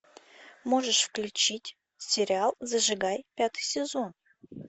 можешь включить сериал зажигай пятый сезон